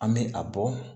An bɛ a bɔ